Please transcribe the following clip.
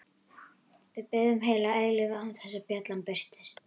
Við biðum heila eilífð án þess að bjallan birtist.